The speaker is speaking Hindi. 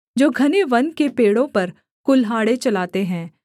वे उन मनुष्यों के समान थे जो घने वन के पेड़ों पर कुल्हाड़े चलाते हैं